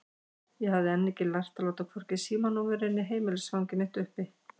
Ég hafði enn ekki lært að láta hvorki símanúmerið né heimilisfangið mitt uppi.